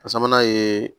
A sabanan ye